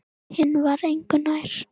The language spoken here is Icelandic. Hinn var engu nær.